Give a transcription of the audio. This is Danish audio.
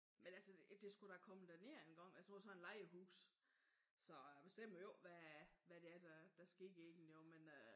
Men altså det skulle da komme derned engang. Jeg bor i sådan et lejehus så jeg bestemmer jo ikke hvad hvad det er der sker i det men øh